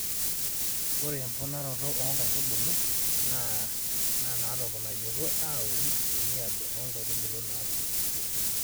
ore emponaroto naa inkaitubulu naatoponnayioki aun te niaba oo nkaitubulu naatupukutuo.